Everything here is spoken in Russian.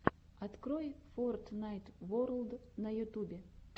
открой фортнайт ворлд на ютубе